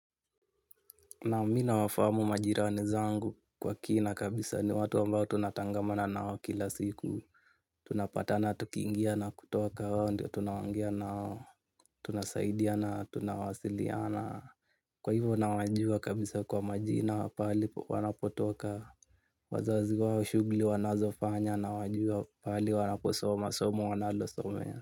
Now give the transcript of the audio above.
Naam mi nawafamu majirani zangu kwa kina kabisa ni watu ambao tunatangamana nao kila siku. Tunapatana tukingia na kutoka hao ndio tunaongea nao, tunasaidiana tunawasiliana. Kwa hivyo nawajua kabisa kwa majina pahali wanapotoka. Wazazi wao shughuli wanazofanya na wajua pahali wanaposoma, somo wanalosomea.